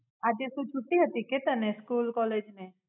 આજે શું છુટ્ટી હતી કે તને સ્કૂલ કૉલેજ મેં